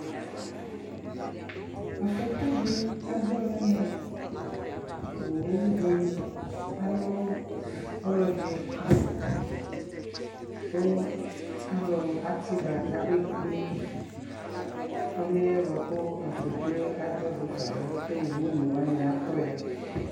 aƒɔkʋ di adzɔ nʋ ɛmɛ, ɔwʋ di alʋ ɔlɔdi kʋ alʋ ati ba kʋ abɛ kplɛ ɔlʋɛ bʋakʋ aƒɔkʋɛ adzɔ dʋ ƒaɛ kʋ ɔwʋ ɔnɛ wani atɔ ya